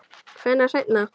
Hvenær seinna?